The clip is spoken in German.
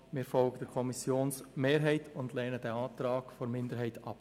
Wir folgen der Kommissionsmehrheit und lehnen den Antrag der Minderheit ab.